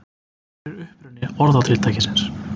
Hver er uppruni orðatiltækisins?